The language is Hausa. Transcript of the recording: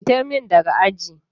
Fitar min daga aji.